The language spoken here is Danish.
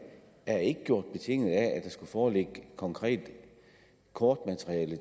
er ikke gjort betinget af at der skulle foreligge konkret kortmateriale